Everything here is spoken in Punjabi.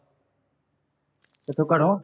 ਕਿੱਥੋ ਘਰੋਂ